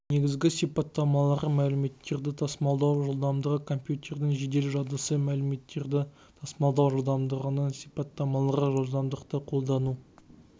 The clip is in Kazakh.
негізгі сипаттамалары мәліметтерді тасымалдау жылдамдығы компьютердің жедел жадысына мәліметтерді тасымалдау жылдамдығының сипаттамалары жылдамдықты қолдану